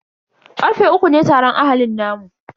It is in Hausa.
Karfe uku ne taron ahalin namu.